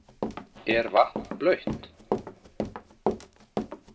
Er vatn blautt?